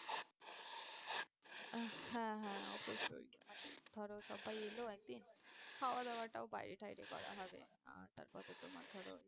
আহ হ্যাঁ হ্যাঁ অবশ্যই মানে ধরো সবাই এলো একদিন খাওয়া দাওয়াটাও বাইরে টাইরে করা হবে আহ তারপর তো তোমার ধরো